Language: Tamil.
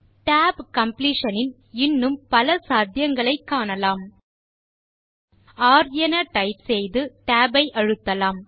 tab காம்ப்ளீஷன் இன் இன்னும் பல சாத்தியங்களை காணலாம்r என டைப் செய்து tab ஐ அழுத்தலாம்